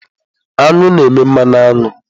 Aṅụ na-eme mmanụ aṅụ.